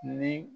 Ni